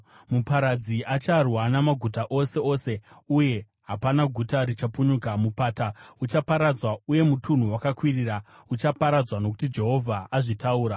Muparadzi acharwa namaguta ose ose, uye hapana guta richapunyuka. Mupata uchaparadzwa, uye mutunhu wakakwirira uchaparadzwa nokuti Jehovha azvitaura.